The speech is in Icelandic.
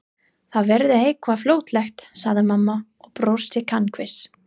Það verður eitthvað fljótlegt sagði mamma og brosti kankvís.